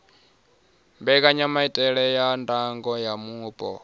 mbekanyamaitele ya ndango ya mupo